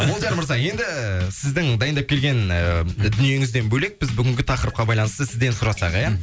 молдияр мырза енді сіздің дайындап келген ыыы дүниеңізден бөлек біз бүгінгі тақырыпқа байланысты сізден сұрасақ ия